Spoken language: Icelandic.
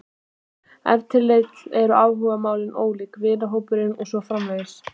Ef til vill eru áhugamálin ólík, vinahópurinn og svo framvegis.